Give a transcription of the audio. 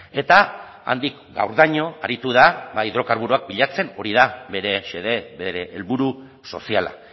eta handik gaurdaino aritu da ba hidrokarburoak bilatzen hori da bere xede bere helburu soziala